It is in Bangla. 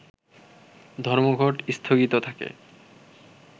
ধর্মঘট স্থগিত থাকে